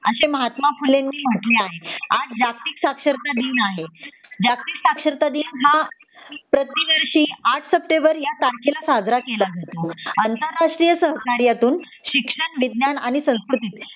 असे महात्मा फुलेंनी म्हटले आहे आज जागतिक साक्षरता दिन आहे जागतिक साक्षरता दिन हा प्रतिवर्षी आठ सेप्टेंबर या तारखेला साजरा केला जातो आंतरराष्ट्रीय सहकाऱ्यातून शिक्षण विज्ञान आणि संस्कृति चे